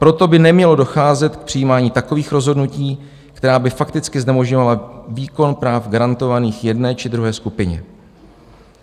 Proto by nemělo docházet k přijímání takových rozhodnutí, která by fakticky znemožňovala výkon práv garantovaných jedné či druhé skupině.